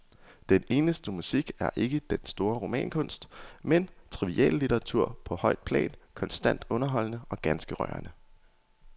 Den eneste musik er ikke den store romankunst, men triviallitteratur på højt plan, konstant underholdende og ganske rørende.